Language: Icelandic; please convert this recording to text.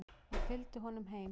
Ég fylgdi honum heim.